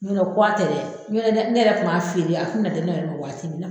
Ɲ'ɔ tɛ kuwa tɛ dɛ ɲ'ɔ tɛ ne yɛrɛ kun b'a feere yan a kun bɛ na di ne yɛrɛ ma waati min na.